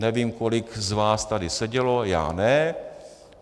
Nevím, kolik z vás tady sedělo, já ne.